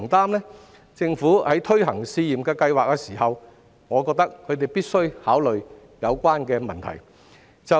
我認為政府在推行試驗計劃時，必須考慮有關的問題。